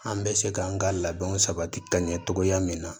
An bɛ se k'an ka labɛnw sabati ka ɲɛ cogoya min na